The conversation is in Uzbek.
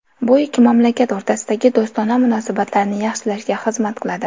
Bu ikki mamlakat o‘rtasidagi do‘stona munosabatlarni yaxshilashga xizmat qiladi.